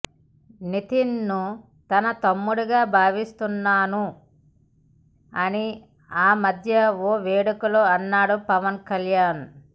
నితిన్ ను తన తమ్ముడిగా భావిస్తున్నాను అని ఆమధ్య ఓ వేడుకలో అన్నాడు పవన్ కళ్యాణ్